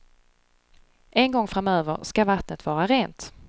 En gång framöver ska vattnet vara rent.